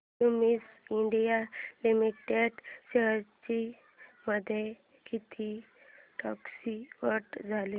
Cummins India limited shares मध्ये किती टक्क्यांची वाढ झाली